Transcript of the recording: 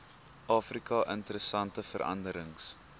afrika interessante veranderings